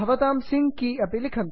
भवतां sync key अपि लिखन्तु